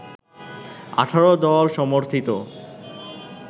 ১৮-দল সমর্থিত